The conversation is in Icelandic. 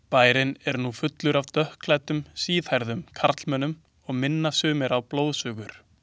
Bærinn er nú fullur af dökkklæddum, síðhærðum karlmönnum og minna sumir á blóðsugur.